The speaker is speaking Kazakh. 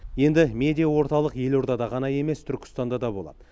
енді медиа орталық елордада ғана емес түркістанда да болады